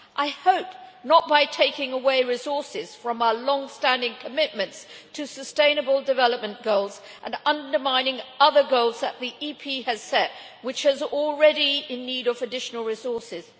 I hope not by taking away resources from our long standing commitments to sustainable development goals and undermining other goals that the EP has set which are already in need of additional resources.